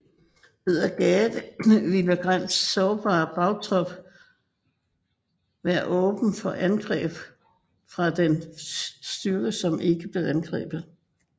Ved at gære det ville Grants sårbare bagtrop være åben for angreb fra den styrke som ikke blev angrebet